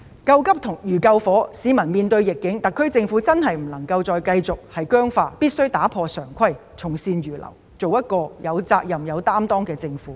救急如救火，市民面對逆境，特區政府不能繼續僵化，必須打破常規，從善如流，做一個有責任、有擔當的政府。